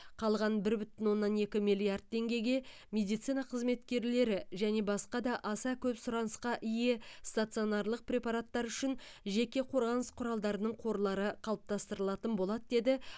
қалған бір бүтін оннан екі миллиард теңгеге медицина қызметкерлері және басқа да аса көп сұранысқа ие стационарлық препараттар үшін жеке қорғаныс құралдарының қорлары қалыптастырылатын болады деді